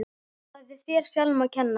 Það er þér sjálfum að kenna.